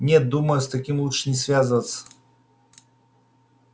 нет думаю с таким лучше не связываться